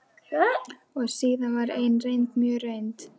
Og síðan var ein reynd, mjög reynd.